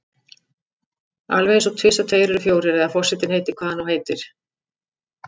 Alveg einsog tvisvar tveir eru fjórir eða forsetinn heitir hvað hann nú heitir.